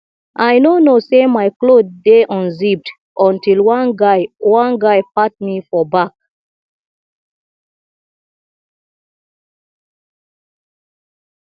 i no know say my cloth dey unzipped until one guy one guy pat me for back